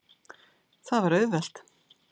Það var auðvelt.